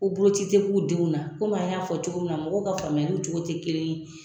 Ko boloci te k'u denw na an y'a fɔ cogo min na , mɔgɔw ka faamuyali cogo te kelen ye